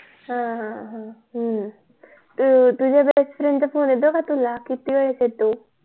हा हा हा तुझ्या BEST FRIEND चा फोन येतो का तुला किती वेळा येतो?